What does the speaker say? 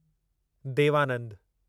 देव आनंदु